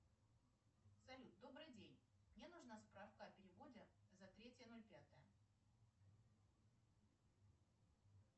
салют добрый день мне нужна справка о переводе за третье ноль пятое